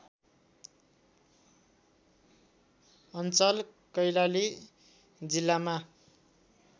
अञ्चल कैलाली जिल्लामा